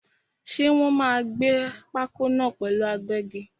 Ṣé Wòn máa gbẹ́ pákó náà pẹ̀lú agbẹ́gi?